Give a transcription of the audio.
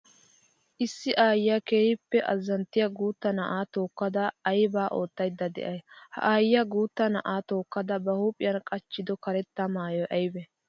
Issi aayiya keehippe azanttiya guuta na'aa tookkadda aybba oottaydde de'ay? Ha aayiya guuta na'aa tookkadda ba huuphiyan qachchiddo karetta maayoy aybbe?